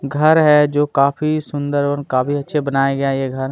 घर है जो काफी सुंदर और काफी अच्छे बनाया गया ये घर।